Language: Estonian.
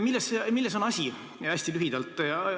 Milles on asi, hästi lühidalt?